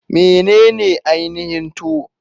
Menene ainihin Tuwo?